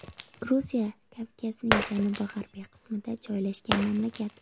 Gruziya Kavkazning janubi-g‘arbiy qismida joylashgan mamlakat.